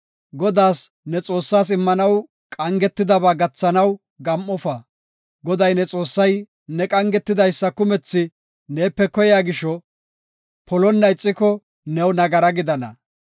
Godaas, ne Xoossaas, immanaw qangetidaba gathanaw gam7ofa. Goday ne Xoossay ne qangidaysa kumethi neepe koyiya gisho, polonna ixiko new nagara gidana.